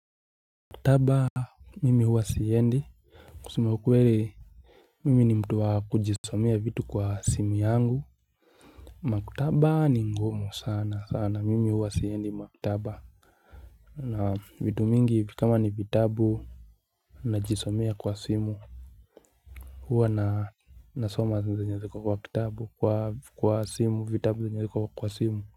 Maktaba mimi huwa siendi kusema ukweli Mimi ni mtu wa kujisomea vitu kwa simu yangu Maktaba ni ngumu sana sana mimi huwa siendi maktaba na vitu mingi kama ni vitabu Najisomea kwa simu huwa na nasoma zenye ziko kwa kitabu kwa kwa simu vitabu zenye ziko kwa simu.